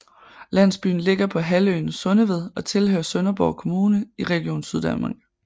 Landsbyen ligger på halvøen Sundeved og tilhører Sønderborg Kommune og Region Syddanmark